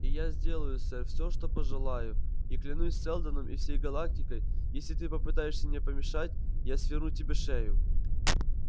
и я сделаю сэр всё что пожелаю и клянусь сэлдоном и всей галактикой если ты попытаешься мне помешать я сверну тебе шею